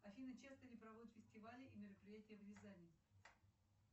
афина часто ли проводят фестивали и мероприятия в рязани